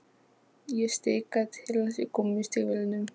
Ég stikaði til hans í gúmmístígvélunum.